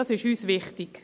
Das ist uns wichtig.